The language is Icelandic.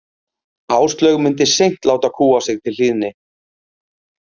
Áslaug myndi seint láta kúga sig til hlýðni.